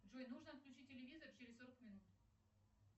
джой нужно отключить телевизор через сорок минут